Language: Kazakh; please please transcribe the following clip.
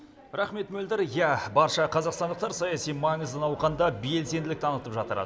рахмет мөлдір иә барша қазақстандықтар саяси маңызды науқанда белсенділік танытып жатыр